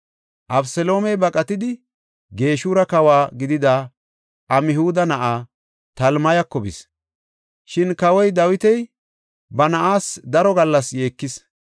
Abeseloomey baqatidi, Geshura kawo gidida Amhuda na7aa Talmayako bis. Shin kawoy Dawiti ba na7aas daro gallas yeekis.